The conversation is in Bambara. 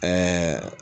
Ɛɛ